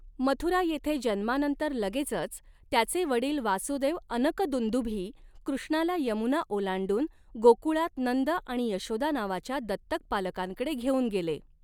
मथुरा येथे जन्मानंतर लगेचच, त्याचे वडील वासुदेव अनकदुंदुभी कृष्णाला यमुना ओलांडून, गोकुळात नंद आणि यशोदा नावाच्या दत्तक पालकांकडे घेऊन गेले.